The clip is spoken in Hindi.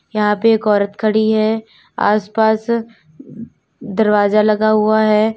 यहां पे एक औरत खड़ी है आसपास दरवाजा लगा हुआ है।